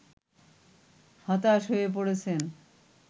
হতাশ হয়ে পড়েছেন